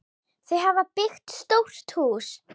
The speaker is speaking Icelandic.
Þau hafa byggt stórt hús.